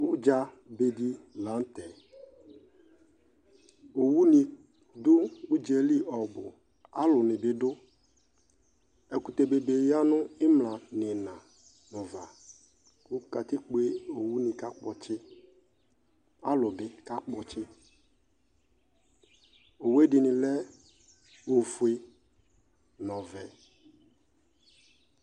Udza beɖɩ la nutɛ Owu ṇɩ du udzeli ɔbu, alu nɩ bɩ du Ɛkutɛ bebe ni ya nu ɩmlạ niɩna nuva Ku katikpo uwu nɩ kakpɔtsɩ, alu bi kakpɔtsɩ Owue ɖɩnɩ lɛ ofoe nɔvɛ